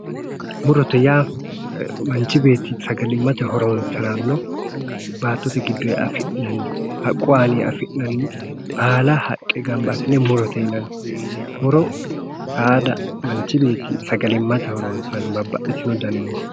Murote yaa manchi beetti sagalimate horonsirano baattote giddoni, haqqu aaninni afi'nanni baalla haqqe gamba assine murote yinanni. Muro saada manchi beetti sagalimate horonsirano babbaxitino muroti